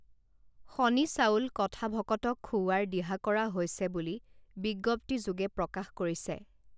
শনি চাউল কথা ভকতক খুওৱাৰ দিহা কৰা হৈছে বুলি বিজ্ঞপ্তিযোগে প্ৰকাশ কৰিছে